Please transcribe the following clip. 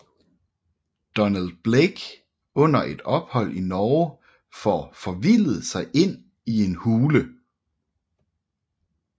Donald Blake under et ophold i Norge får forvildet sig ind i en hule